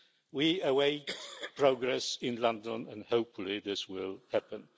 We await progress in London, and hopefully this will happen.